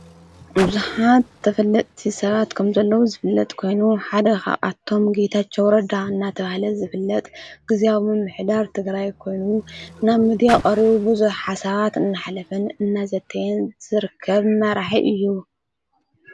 ብዙኃት ተፍልጥቲ ሰራት ከም ዘለዉ ዝፍለጥ ኮይኑ ሓደኻ ኣቶም ጌታኣውረዳ እናተብሃለ ዝፍለጥ ጊዜኣሙም ኅዳር ትግራ ኮይኑ ናብ ምዲያ ኦርቡ ብዙኅ ሓሳባት እናኃለፍን እነዘተየን ዘርከብ መራሒ እዩ።